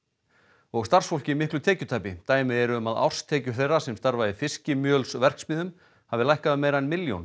og starfsfólki miklu tekjutapi dæmi eru um að árstekjur þeirra sem starfa í fiskimjölsverksmiðjum hafi lækkað um meira en milljón